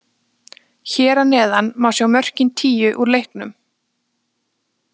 Hér að neðan má sjá mörkin tíu úr leiknum.